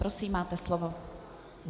Prosím, máte slovo.